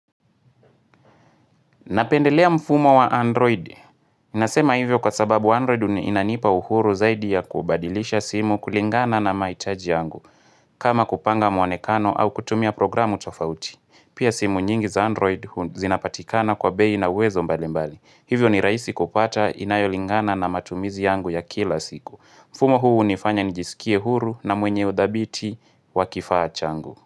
Napendelea mfumo wa Android. Nasema hivyo kwa sababu Android uniinanipa uhuru zaidi ya kubadilisha simu kulingana na mahitaji yangu. Kama kupanga muonekano au kutumia programu tofauti. Pia simu nyingi za Android zinapatikana kwa bei na uwezo mbalimbali. Hivyo ni raisi kupata inayolingana na matumizi yangu ya kila siku. Mfumo huu unifanya nijisikie huru na mwenye udhabiti wakifaa changu.